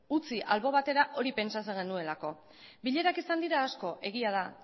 utzi albo batera hori pentsatzen genuelako bilerak izan dira asko egia da